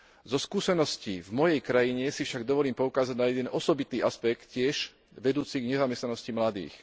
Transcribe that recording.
Zo skúseností v mojej krajine si však dovolím poukázať na jeden osobitý aspekt tiež vedúci k nezamestnanosti mladých.